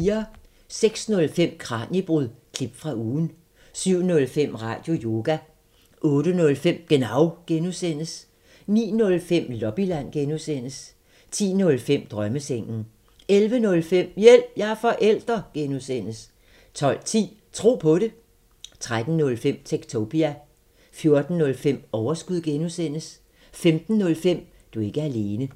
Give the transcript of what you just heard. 06:05: Kraniebrud – klip fra ugen 07:05: Radioyoga 08:05: Genau (G) 09:05: Lobbyland (G) 10:05: Drømmesengen 11:05: Hjælp – jeg er forælder! (G) 12:10: Tro på det 13:05: Techtopia 14:05: Overskud (G) 15:05: Du er ikke alene